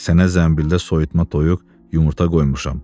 Sənə zəmbildə soyutma toyuq, yumurta qoymuşam.